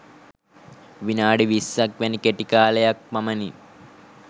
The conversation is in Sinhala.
විනාඩි විස්සක් වැනි කෙටි කාලයක් පමණි